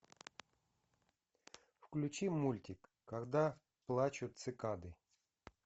включи мультик когда плачут цикады